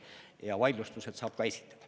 Ja vaidlustused saab ka esitada.